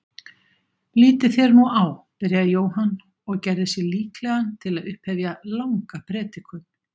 Lítið þér nú á, byrjaði Jóhann og gerði sig líklegan til að upphefja langa predikun.